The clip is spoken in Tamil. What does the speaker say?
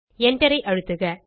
Enter ஐ அழுத்துக